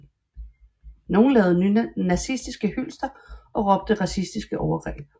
Nogle lavede nazistiske hylster og råbte racistiske overgreb